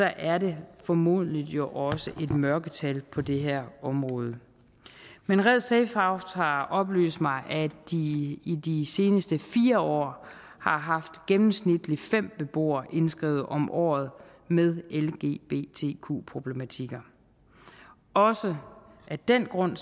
er det formodentlig også et mørketal på det her område men red safehouse har oplyst mig at de i de seneste fire år har haft gennemsnitligt fem beboere indskrevet om året med lgbtq problematikker også af den grund